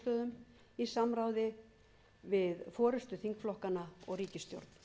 niðurstöðum í samráði við forustu þingflokkanna og ríkisstjórn